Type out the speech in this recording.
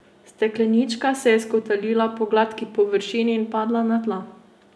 Steklenička se je skotalila po gladki površini in padla na tla.